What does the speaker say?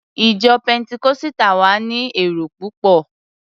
Ìjọ Pẹntikọ́sítà wa ni èrò púpọ̀.